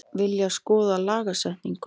Vilja skoða lagasetningu